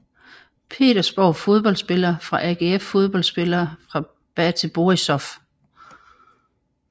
Petersborg Fodboldspillere fra AGF Fodboldspillere fra BATE Borisov